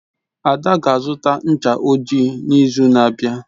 Ada ga-azụta ncha ojii n'izu na-abịa.